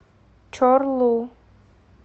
чорлу